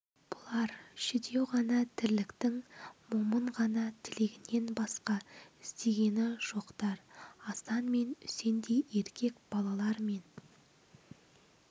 бұлар жүдеу ғана тірліктің момын ғана тілегінен басқа іздегені жоқтар асан мен үсендей еркек балалар мен